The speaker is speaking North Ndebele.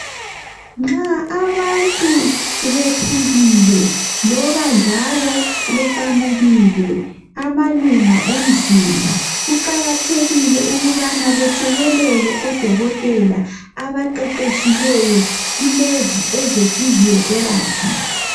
Nxa abantu bephukile loba njalo beqamukile amalunga omzimba, kuqakathekile ukubana bethekelele odokotela abaqheqhetshileyo kulezi eze physiotherapy.